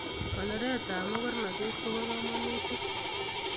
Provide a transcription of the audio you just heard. Konoret tab makarnatet koba kamanutik